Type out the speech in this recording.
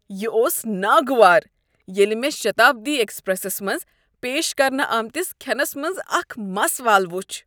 یہ اوس ناگوار ییٚلہ مےٚ شتابدی ایکسپریسس منٛز پیش کرنہٕ آمتس کھینس منٛز اکھ مس وال وُچھ۔